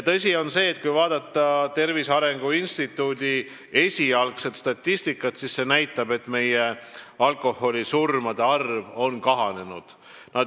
Tõsi on see, et kui vaadata Tervise Arengu Instituudi esialgset statistikat, siis see näitab, et meie alkoholisurmade arv on kahanenud.